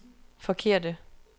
forkerte